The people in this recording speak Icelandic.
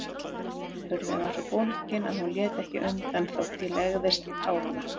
Hurðin var svo bólgin að hún lét ekki undan þótt ég legðist á hana.